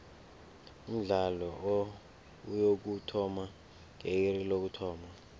umdlalo uyokuthoma nge iri lokuthoma